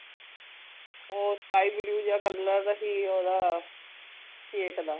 ਓ sky blue ਜੇਆ colour ਹੀ ਓਦਾ cake ਦਾ